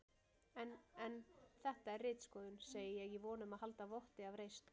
En en. þetta er ritskoðun, segi ég í von um að halda votti af reisn.